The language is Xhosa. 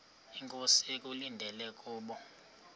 inkosi ekulindele kubo